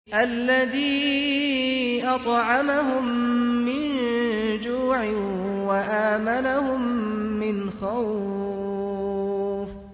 الَّذِي أَطْعَمَهُم مِّن جُوعٍ وَآمَنَهُم مِّنْ خَوْفٍ